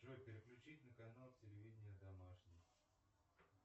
джой переключить на канал телевидения домашний